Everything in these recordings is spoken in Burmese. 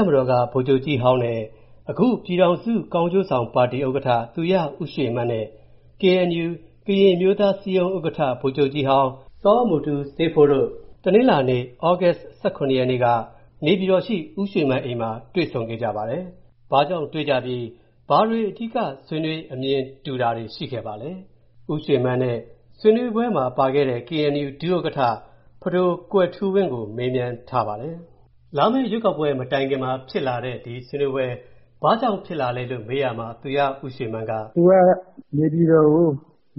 ပ်မတော်က အရင်ဗိုလ်ချုပ်ကြီးဟောင်းနဲ့ အခု ပြည်ထောင်စုကောင်းကျိုးဆောင်ပါတီ ဥက္ကဌ သူရဦးရွေမန်းနဲ့ KNU ကရင်အမျိုးသားအစည်းအရုံး ဥက္ကဌ ဗိုလ်ချုပ်ကြီးဟောင်း စောမူတူးဆေးဖိုးတို့ တနင်္လာနေ့ သြဂုတ်လ ရက်နေ့က နေပြည်တော်ရှိ ဦးရွေမန်းအိမ်မှာ တွေ့ဆုံ ဆွေးနွေးခဲ့ကြပါတယ်။ ဘာကြောင့်တွေ့ကြပြီး၊ ဘာတွေအဓိက ဆွေးနွေး အမြင်တူတာတွေ ရှိခဲ့ပါလဲ။ဒီသတင်းကို ကိုဝင်းမင်း ပြောပြမှာပါ။ လာမယ့်ရွေးကောက်ပွဲမတိုင်ခင် ဒီဆွေးနွေးပွဲ ဘာကြောင့်ဖြစ်လာလဲကို မေးရာမှာ သူရဦးရွေမန်းက “သူကနေပြည်တော်ကို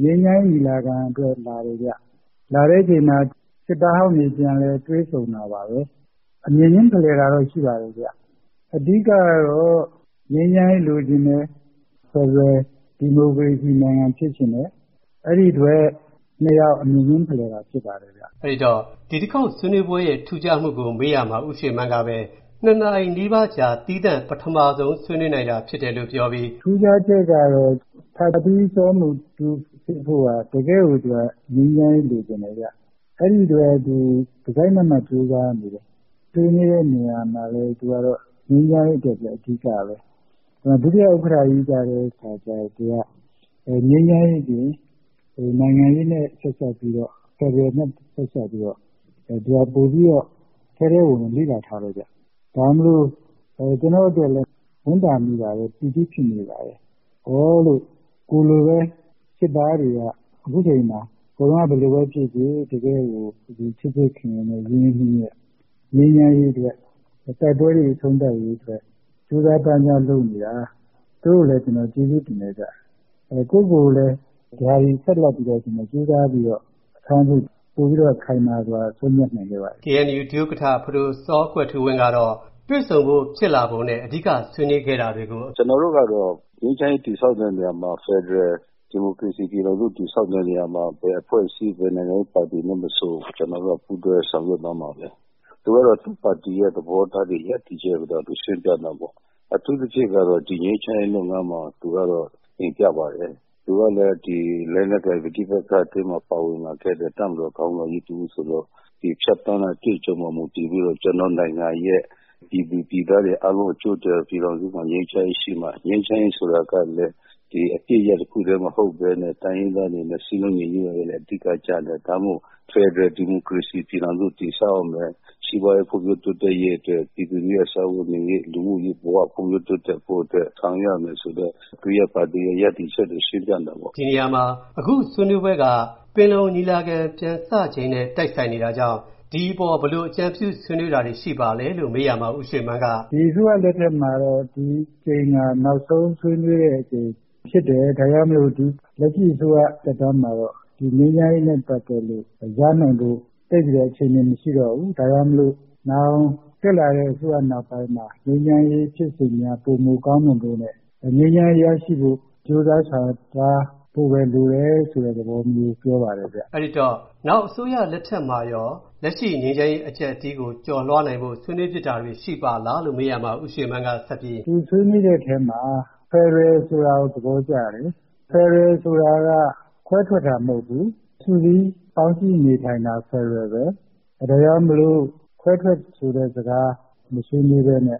ငြိမ်းချမ်းရေးညီလာခံအတွက်လာတယ်ဗျ။ လာတဲ့အချိန်မှာ စစ်သားဟောင်းတွေ ပြန်လည်တွေ့ဆုံတာပါပဲ။ အမြင်ချင်းဖလှယ်တာတော့ ရှိပါတယ် အဓိကတော့ ငြိမ်းချမ်းရေးလိုချင်တယ်၊ ဖယ်ဒရယ်ဒီမိုကရေစီနိုင်ငံ ဖြစ်ချင်တယ် အဲဒီအတွက် ၂ ယောက် အမြင်ချင်းဖလှယ်တာ ဖြစ်ပါတယ်။” အဲဒီတော့ ဒီတခေါက်ဆွေးနွေးပွဲ ရဲ့ ထူးခြားမှုကို မေးရာမှာ သူရဦးရွေမန်းက ၂ နာရီနီးပါးကြာ သီးသန့် ပထမဆုံး ဆွေးနွေးနိုင်တာဖြစ်တယ်လို့ ပြောပြီး “ထူးခြားချက်ကတော့ ဖထီး စောမူတူးဆေးဖိုးက တကယ် ငြိမ်းချမ်းရေးလိုချင်တယ်ဗျ ။ အဲဒီတော့ သူက တစိုက်မတ်မတ်ကြိုးစားနေတယ် ။ ဆွေးနွေးတဲ့နေရာမှာလည်း သူက ငြိမ်းချမ်းရေးအတွက် အဓိကပဲ။ ဒုဥက္ကဌကြီးကတော့ ငြိမ်းချမ်းရေးသည် နိုင်ငံရေး နဲ့ ဆက်စပ်ပြီးတော့ ဖယ်ဒရယ်နဲ့ ဆက်စပ်ပြီးတော့ သူက ပိုပြီးတော့ ထဲထဲဝင်ဝင် လေ့လာထားတယ်ဗျ။ ဒါကြောင့်မို့လို့ ကျနေ့ာ်အတွက်လည်း ဝမ်းသာမိပါတယ်၊ ပီတိဖြစ်မိတယ်။ ကိုယ်လိုပဲ စစ်သားတွေက အခုအချိန်မှာ ဟိုတုန်းက ဘယ်လိုပဲ ဖြစ်ဖြစ် အခု ချစ်ချစ်ခင်ခင် ရင်းရင်းနှီးနှီးနဲ့ ငြိမ်းချမ်းရေးအတွက် ၊ တိုက်ပွဲတွေ အဆုံးသတ်ရေးအတွက် ကြိုးစားပမ်းစားလုပ်နေတာ သူတို့ကိုလည်းကျနော် ကျေးဇူးတင်တယ်။ ကိုယ့်ကိုကိုယ်လည်း အများကြီးဆက်ပြီးတော ကြိုးစားပြီးတော့လုပ်ဖို့ ပိုပြီးတော့ ခိုင်မာစွာ ဆုံးဖြတ်နိုင်ခဲ့ပါတယ်။ KNU ဒုဥက္ကဌ ဖဒို စောကွယ်ထူးဝင်းကတော့ တွေ့ဆုံဖို့ ဖြစ်လာပုံနဲ့ အဓိကဆွေးနွေးခဲ့တာတွေကို “ကျနော်တို့ကတော့ ငြိမ်းချမ်းရေးတည်ဆောက်တဲ့နေရာမှာ ဖယ်ဒရယ် ဒီမိုကရေစီ ပြည်ထောင်စ တည်ဆောက်တဲ့နေရာမှာ ဘယ်အဖွဲ့အစည်း ဘယ်နိုင်ငံရေးပါတီမဆို ကျနော်တို့က ပူးတွဲဆောင်ရွက်သွားမှာပါပဲ။ သူကတော့ သူ့ပါတီ ရပ်တယ်ချက်၊ သဘောထားတွေကိုတော့ သူရှင်းပြတာပေါ့ အထူးသဖြင့်ကတော့ ဒီငြိမ်းချမ်းရေးလုပ်ငန်းမှာ သူကတော့တင်ပြပါတယ် သူကလည်း လက်နက်ကိုင် ပဋိပက္ခထဲမှာ ပါဝင်လာခဲ့တဲ့ တပ်မတော်ခေါင်းဆောင်ကြီးတဦးဆိုတော့ ဖြတ်သန်းတဲ့ အတွေ့အကြုံပေါ်မှာ မူတည်ပြီးတော့ ကျနော့်နိုင်ငံရဲ့ ပြည်သူပြည်သားတွေ အားလုံးအကျိုးအတွက် ပြည်ထောင်စုမှာ ငြိမ်းချမ်းရေးရှိမှ၊ ငြိမ်းချမ်းရေးဆိုတာကလည်း အပစ်ရပ်တခုတည်းမဟုတ်ပဲနဲ့ တိုင်းရင်းသားတွေနဲ့ စည်းလုံးရေး ကလည်း အဓိက ကျတယ်။ ဒါကြောင့်မို့ ဖယ်ဒရယ် ဒီမိုကရေစီ ပြည်ထောင်စုတည်ဆောက်ရမယ်။ စီးပွားရေး ဖွံ့ဖြိုးတိုးတက်ရေးအတွက် ပြည်သူလူထုရဲ့ စားဝတ်နေရေး၊ လူမှုရေးဘ၀ ဖွံ့ဖြိုးတိုးတက်ဖို့အတွက် ဆောက်ရွက်ရမယ်ဆိုတဲ့ သူ့ပါတီ ရပ်တယ်ချက်တွေ ရှင်းပြတာပေါ့။” ဒီနေရာမှာ အခုဆွေးနွေးပွဲက ပင်လုံညီလာခံ ပြန်စချိန်နဲ့ တိုက်ဆိုင်နေတာကြောင့် ဒီအပေါ် ဘယ်လို အကြံပြုဆွေးနွေးတာတွေ ရှိပါသလဲလို့ မေးရာမှာ ဦးရွေမန်းက “အခုအစိုးရ လက်ထက်မှာတော့ ဒီတကြိမ်ဟာ နောက်ဆုံးဆွေးနွေးတဲ့အကြိမ်ဖြစ်တယ်။ ဒါကြောင့်မို့လက်ရှိအစိုးရ သက်တမ်းမှာတော့ ငြိမ်းချမ်းရေးနဲ့ ပတ်သက်လို့ ရနိုင်ဖို့ သိပ်ပြီးတော့ အခြေအနေ မရှိတော့ဘူး ။ ဒါကြောင့် နောင်တက်လာတဲ့ အစိုးရနောက်ပိုင်းမှာ ငြိမ်းချမ်းရေး ဖြစ်စဉ်များ ပိုမိုကောင်းမွန်ဖို့နဲ့ ငြိမ်းချမ်းရေးရဖို့ ကြိုးစားဆောင်ရွက်သွားဖို့ လိုတယ်ဆိုတဲ့ သဘောမျိုး ပြောပါတယ်ခင်ဗျ။” အဲဒီတော့ နောင်အစိုးရလက်ထက်မှာရော လက်ရှိငြိမ်းချမ်းရေးအကျပ်အတည်းကို ကျော်လွှားနိုင်ဖို့ ဆွေးနွေးဖြစ်တာတွေ ရှိပါသလားလို့ မေးရာမှာ ဦးရွေမန်းကဆက်ပြီး “သူဆွေးနွေးတဲ့အထဲမှာ ဖယ်ဒရယ်ဆိုတာကို သဘောကျတယ်။ ဖယ်ဒရယ်ဆိုတာက ခွဲထွက်တာ မဟုတ်ဘူး၊ စုစည်း ပေါင်းစည်းနေထိုင်တာ ဖယ်ဒရယ်ပဲ။ ဒါကြောင့် ခွဲထွက်ဆိုတဲ့စကား မဆွေးနွေးပဲနဲ့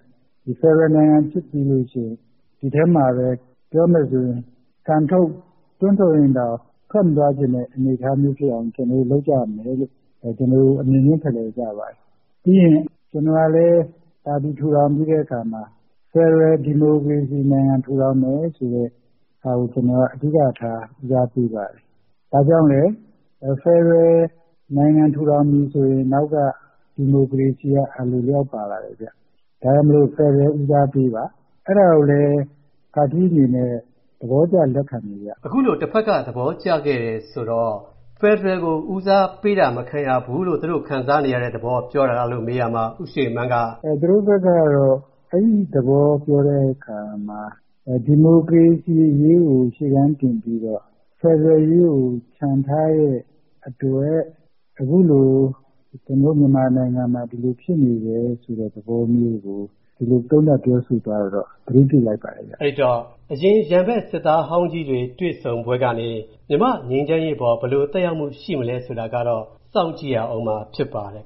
ဖယ်ဒရယ်နိုင်ငံကြီးဖြစ်ပြီးရင် ဒီထဲမှာပဲ ပြောမယ်ဆိုရင် ကန်ထုတ် တွန်းထုတ်ရင်တောင် ထွက်မသွားချင်တဲ့ အနေအထားမျိုးဖြစ်အောင် ကျနော်တို့ လုပ်ကြရမယ်လို့ ဒီလို အမြင်ချင်းဖလှယ်ကြပါတယ်။ ပြီးရင် ကျနော်ကလည်း ပါတီ ထူထောင်ပြီးတဲ့အခါမှာ ဖယ်ဒရယ် ဒီမိုကရေစီနိုင်ငံ ထူထောင်မယ်ဆိုတာကို အဓိကထား ဦးစားပေးပါတယ်။ ဘာကြောင့်လဲ ဖယ်ဒရယ် ဒီမိုကရေစီနိုင်ငံ ထူထောင်ပြီဆိုရင် အနောက်က ဒီမိုကရေစီက အလိုအလျောက်ပါလာတယ်။ ဒါကြောင့်မို့ ဖယ်ဒရယ်ကို ဦးစားပေးပါ။ အဲဒါကိုလည်း ဖထီးအနေနဲ့ သဘောကျလက်ခံတယ်ခင်ဗျ။” အခုလို တဘက်က သဘောကျခဲ့တယ်ဆိုတော့ ဖယ်ဒရယ်ကို ဦးစားပေးတာ မခံရဘူးလို့ သူတို့ ခံစားနေရတဲ့ သဘောပြောတာလားလို့ မေးရာမှာ ဦးရွေမန်းက “သူတို့ဘက်ကတော့ အဲဒီသဘောပြောတဲ့အခါမှာ ဒီမိုကရေစီအရေးကို ရှေ့တန်းတင်ပြီးတော့ ဖယ်ဒရယ်ရေးကို ချန်ထားတဲ့အတွက် အခုလို ကျနော်တို့ မြန်မာနိုင်ငံမှာ ဒီလိုဖြစ်နေတယ်ဆိုတဲ့ သဘောမျိုးကို သုံးသပ်ပြောဆို သွားတာကိုတော့ ကျနော် သတိပြုမိလိုက်ပါတယ်။” အဲဒီတော့ အရင်ရန်ဘက် စစ်သားဟောင်းကြီးတွေ တွေ့ဆုံပွဲကနေ မြန်မာ့ငြိမ်းချမ်းရေးအပေါ် ဘယ်လို သက်ရောက်မှုရှိမလဲဆိုတာကတော့ စောင့်ကြည့်ရဦးမှာ ဖြစ်ပါတယ်